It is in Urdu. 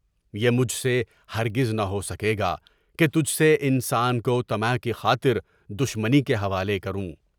یہ مجھ سے ہرگز نہ ہو سکے گا کہ تجھ سے انسان کو طمع کی خاطر دشمنی کے حوالے کروں۔